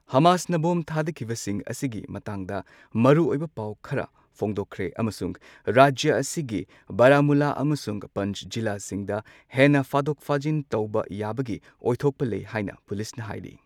ꯍꯃꯥꯁꯅ bomb ꯊꯥꯗꯈꯤꯕꯁꯤꯡ ꯑꯁꯤꯒꯤ ꯃꯇꯥꯡꯗ ꯃꯔꯨꯑꯣꯏꯕ ꯄꯥꯎ ꯈꯔ ꯐꯣꯡꯗꯣꯛꯈ꯭ꯔꯦ꯫ ꯑꯃꯁꯨꯡ ꯔꯥꯖ꯭ꯌ ꯑꯁꯤꯒꯤ ꯕꯔꯥꯃꯨꯜꯂꯥ ꯑꯃꯁꯨꯡ ꯄꯟ꯭ꯆ ꯖꯤꯂꯥꯁꯤꯡꯗ ꯍꯦꯟꯅ ꯐꯥꯗꯣꯛ ꯐꯥꯖꯤꯟ ꯇꯧꯕ ꯌꯥꯕꯒꯤ ꯑꯣꯏꯊꯣꯛꯄ ꯂꯩ ꯍꯥꯏꯅ ꯄꯨꯂꯤꯁꯅ ꯍꯥꯏꯔꯤ꯫